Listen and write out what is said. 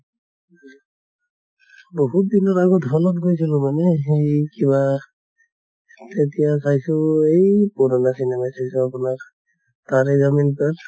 বহুত দিনৰ আগত hall ত গৈছিলো মই মানে হেই কিবা তেতিয়া চাইছো এই পুৰণা hindi:langtaare zameen parhindi:lang